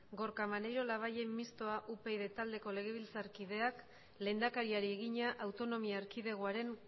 gorka maneiro labayen mistoa upyd taldeko legebiltzarkideak lehendakariari egina autonomia erkidegoaren